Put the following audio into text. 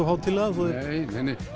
hátíðlega þó að þeir nei